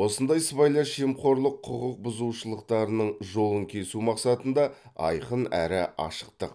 осындай сыбайлас жемқорлық құқық бұзушылықтарының жолын кесу мақсатында айқын әрі ашықтық